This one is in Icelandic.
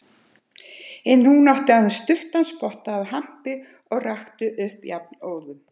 En hún átti aðeins stuttan spotta af hampi og rakti upp jafnóðum.